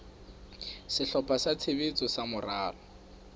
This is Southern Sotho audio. sehlopha sa tshebetso sa moralo